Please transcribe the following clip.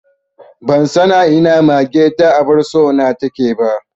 Ban san a ina mage ta abar so na take ba